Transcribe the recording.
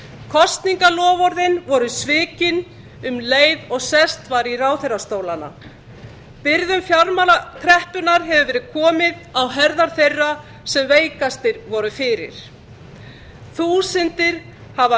kosningaloforðin svo svikin um leið og sest var í ráðherrastólana byrðum fjármálakreppunnar hefur verið komið á herðar þeirra sem veikastir voru fyrir þúsundir hafa